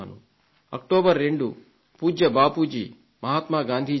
October 2 పూజ్య బాపూజీ జయంతి